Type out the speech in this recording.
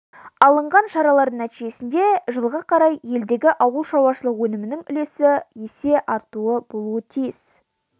алынған шаралардың нәтижесі жылға қарай елдегі ауылшаруашылық өнімінің үлесі есе артуы болуы тиіс